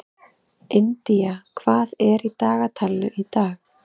Indía, hvað er í dagatalinu í dag?